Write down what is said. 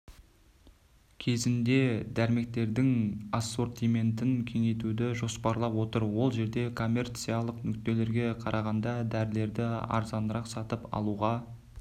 кезегінде дәрмектердің ассортиментін кеңейтуді жоспарлап отыр ол жерде коммерциялық нүктелерге қарағанда дәрілерді арзанырақ сатып алуға